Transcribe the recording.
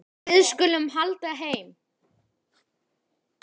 Við skulum halda heim.